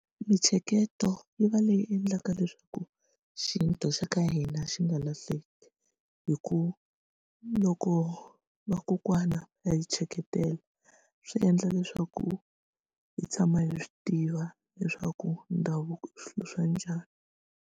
Mintsheketo yi va leyi endlaka leswaku xintu xa ka hina xi nga lahleki hi ku loko vakokwana va hi tsheketela swi endla leswaku hi tshama hi swi tiva leswaku ndhavuko i swilo swa njhani.